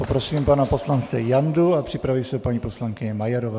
Poprosím pana poslance Jandu a připraví se paní poslankyně Majerová.